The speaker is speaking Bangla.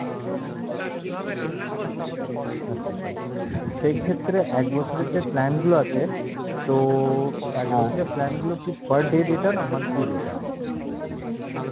আচ্ছা sir সেই ক্ষেত্রে এক বছরের যে plan গুলো আছে তো এক বছরের plan গুলো কী per day data না monthly data?